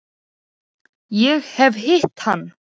Ég hef hitt hann.